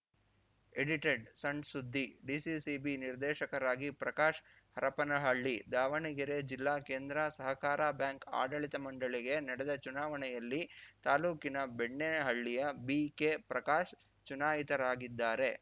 ಎಡಿಟೆಡ್‌ಸಣ್‌ಸುದ್ದಿ DCCB ನಿರ್ದೇಶಕರಾಗಿ ಪ್ರಕಾಶ್‌ ಹರಪನಹಳ್ಳಿ ದಾವಣಗೆರೆ ಜಿಲ್ಲಾ ಕೇಂದ್ರ ಸಹಕಾರ ಬ್ಯಾಂಕ್‌ ಆಡಳಿತ ಮಂಡಳಿಗೆ ನಡೆದ ಚುನಾವಣೆಯಲ್ಲಿ ತಾಲೂಕಿನ ಬೆಣ್ಣಿಹಳ್ಳಿಯ ಬಿಕೆಪ್ರಕಾಶ್‌ ಚುನಾಯಿತರಾಗಿದ್ದಾರೆ